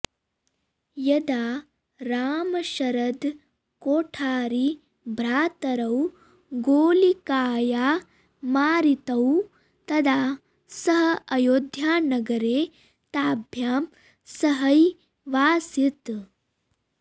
यदा रामशरदकोठारीभ्रातरौ गोलिकाया मारितौ तदा सः अयोध्यानगरे ताभ्यां सहैवासीत्